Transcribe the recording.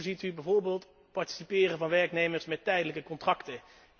En hoe ziet u bijvoorbeeld het participeren van werknemers met tijdelijke contracten?